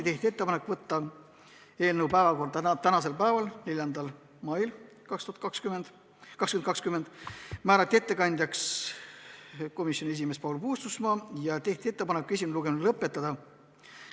Tehti ettepanek võtta eelnõu päevakorda tänaseks päevaks ehk 4. maiks 2020, ettekandjaks määrati komisjoni esimees Paul Puustusmaa ja tehti ettepanek esimene lugemine lõpetada.